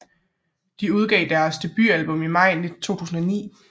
De udgav deres debut album i Maj 2009